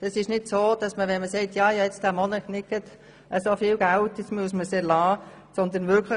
Geltend zu machen, in einem Monat nicht über viel Geld zu verfügen, ist kein Grund für den Gebührenerlass.